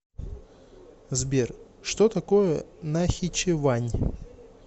сбер что такое нахичевань